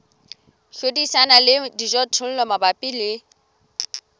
hlodisana le dijothollo mabapi le